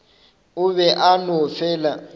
o be a no fela